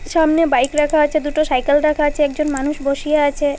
সামনে বাইক রাখা আছে দুটো সাইকেল রাখা আছে একজন মানুষ বসিয়া আছে।